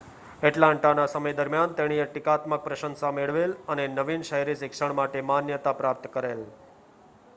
એટલાન્ટાના સમય દરમિયાન તેણીએ ટીકાત્મક પ્રશંસા મેળવેલ અને નવીન શહેરી શિક્ષણ માટે માન્યતા પ્રાપ્ત કરેલ